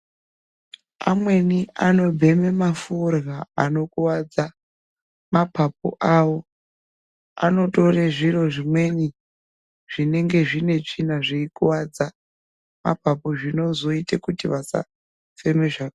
Amweni anobjeme maforya anokuwadza mapapu avo anotore zviro zvimweni zvinenge zvine tsvina zveikuwadza mapapu zvinozoita kuti vasafema zvakanaka.